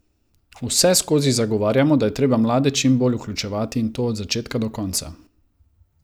Vseskozi zagovarjamo, da je treba mlade čim bolj vključevati, in to od začetka do konca.